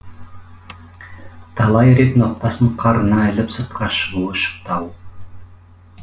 талай рет ноқтасын қарына іліп сыртқа шығуы шықты ау